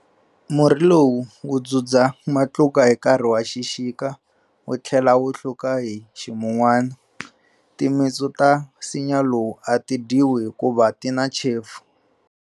Murhi lowu wu dzudza matluka hi nkarhi wa xixika wu tlhela wu hluka hi ximunwana. Timitsu ta nsinya lowu a ti dyiwi hikuva ti na chefu.